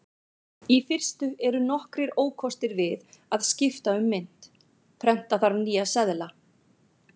Í fyrstu eru nokkrir ókostir við að skipta um mynt: Prenta þarf nýja seðla.